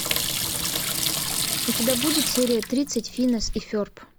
у тебя будет серия тридцать финес и ферб